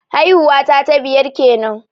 Haihuwa ta ta biyar kenan